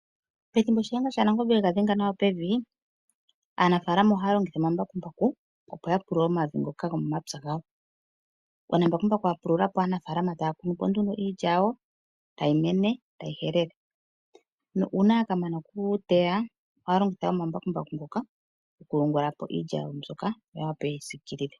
Pethimbo Nashenga shaNangombe ega dhenga nawa pevi aanafalama ohaya longitha omambakumbaku opo yapulule omavi ngoka gomo mapya gawo, uuna mbakumbaku a pululapo aanafalama taya kunu po nduno iilya yawo tayi mene tayi helelwa. Na una yakamana okuteya ohaya longitha omambakumbaku ngoka okuyungulapo iilya yawo mbyoka opo yeyi sikilile.